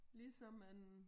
Ligesom en